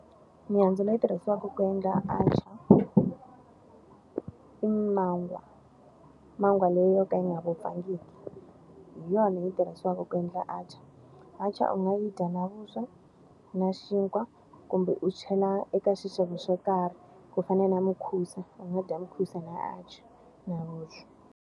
Mihandzu leyi tirhisiwaka ku endla atchaar, I mangwa. Mangwa leyi yo ka yi nga wupfangiki. Hi yona yi tirhisiwaka ku endla atchaar. Atchaar u nga yi dya na vuswa, na xinkwa, kumbe u chela eka xixevo xo karhi. Ku fana na mukhusa, u nga dya mukhusa na atchaar .